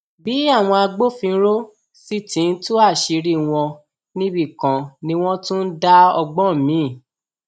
bí àwọn agbófinró sì ti ń tú àṣírí wọn níbì kan ni wọn tún ń dá ọgbọn miín